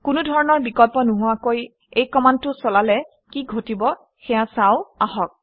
কোনো ধৰণৰ বিকল্প নোহোৱাকৈ এই কমাণ্ডটো চলালে কি ঘটিব সেয়া চাওঁ আহক